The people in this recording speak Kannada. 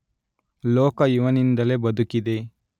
ಲೋಕ ಇವನಿಂದಲೇ ಬದುಕಿದೆ